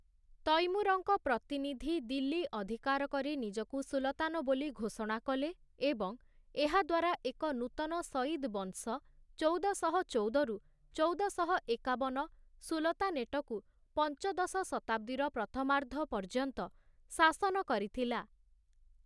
ତୈମୁରଙ୍କ ପ୍ରତିନିଧି ଦିଲ୍ଲୀ ଅଧିକାର କରି ନିଜକୁ ସୁଲତାନ ବୋଲି ଘୋଷଣା କଲେ ଏବଂ ଏହାଦ୍ଵାରା ଏକ ନୂତନ ସଇଦ୍ ବଂଶ ଚଉଦଶହ ଚଉଦ ରୁ ଚଉଦଶହ ଏକାବନ ସୁଲତାନେଟକୁ ପଞ୍ଚଦଶ ଶତାବ୍ଦୀର ପ୍ରଥମାର୍ଦ୍ଧ ପର୍ଯ୍ୟନ୍ତ ଶାସନ କରିଥିଲା ।